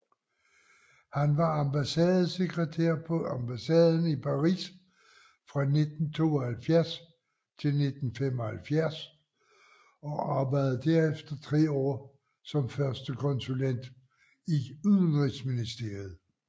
Han var ambassadesekretær på ambassaden i Paris fra 1972 til 1975 og arbejdede derefter tre år som førstekonsulent i Udenrigsministeriet